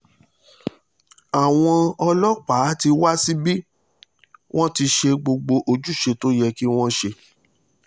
àwọn ọlọ́pàá ti wá síbi wọ́n ti ṣe gbogbo ojúṣe tó yẹ kí wọ́n ṣe